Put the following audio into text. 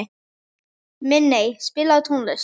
Minney, spilaðu tónlist.